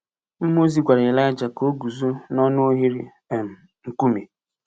Mmụọ ozi gwara Elija ka o guzo n’ọnụ oghere um nkume.